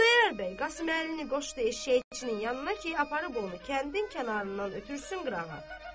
Xudayar bəy Qasım Əlini qoşdu eşşəkçinin yanına ki, aparıb onu kəndin kənarından ötürsün qırağa.